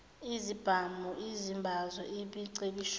izibhamu izimbazo imicibisholo